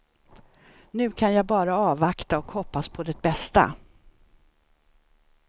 Nu kan jag bara avvakta och hoppas på det bästa.